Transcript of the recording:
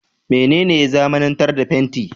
Mene ne ya zamanantar da fenti?